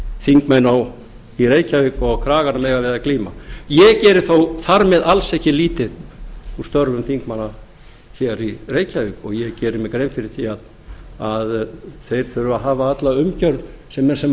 þingmenn í reykjavík og kraganum eiga við að glíma ég geri þó þar með alls ekki lítið úr störfum þingmanna hér í reykjavík og ég geri mér grein fyrir því að þeir þurfa að hafa alla umgjörð sem